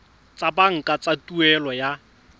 tsa banka tsa tuelo ya